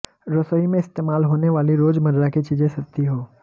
रसोई में इस्तेमाल होने वाली रोजमर्रा की चीजें सस्ती हों